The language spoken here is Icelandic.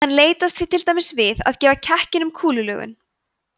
hann leitast því til dæmis við að gefa kekkinum kúlulögun